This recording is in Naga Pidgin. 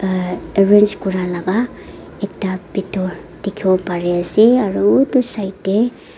ah arrange kura laga ekta bitor dikhiwo pari ase aru utu side te.